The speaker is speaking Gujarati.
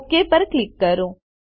ઓક પર ક્લિક કરો